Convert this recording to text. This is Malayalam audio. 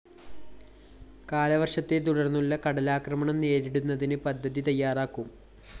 കാലവര്‍ഷത്തെ തുടര്‍ന്നുള്ള കടലാക്രമണം നേരിടുന്നതിന് പദ്ധതി തയ്യാറാക്കും